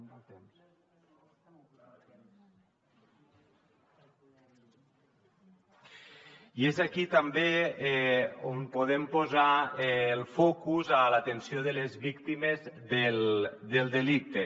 i és aquí també on podem posar el focus a l’atenció de les víctimes del delicte